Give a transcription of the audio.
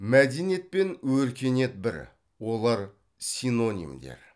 мәдениет пен өркениет бір олар синонимдер